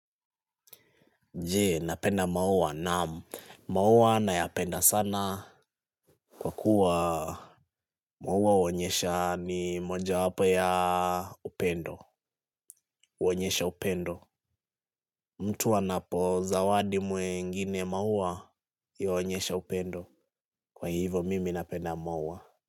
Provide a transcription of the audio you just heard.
Je, napenda maua? Naam, maua nayapenda sana kwa kuwa maua huonyesha ni mojawapo ya upendo. Huonyesha upendo. Mtu anapozawadi mwengine maua yu huonyesha upendo. Kwa hivo mimi napenda maua.